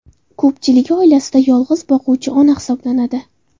Ko‘pchiligi oilasida yolg‘iz boquvchi ona hisoblanadi.